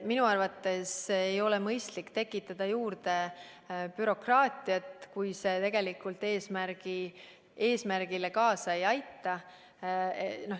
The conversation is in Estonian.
Minu arvates ei ole mõistlik bürokraatiat juurde tekitada, kui see tegelikult eesmärgile kaasa ei aita.